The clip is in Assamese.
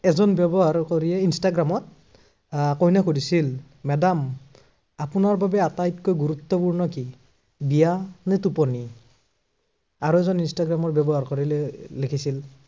এজন ব্য়ৱহাৰকাৰীয়ে ইন্সট্ৰাগ্ৰামত আহ কইনাক সুধিছিল যে madam আপোনাৰ বাবে আটাইতকৈ গুৰুত্বপূৰ্ণ কি, বিয়া নে টোপনি। আৰু এজন ইন্সট্ৰাগ্ৰাম ব্য়াৱহাৰকাৰীলে লিখিছিল